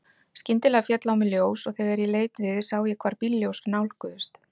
Skyndilega féll á mig ljós og þegar ég leit við sá ég hvar bílljós nálguðust.